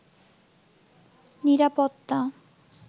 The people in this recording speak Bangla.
নিরাপত্তা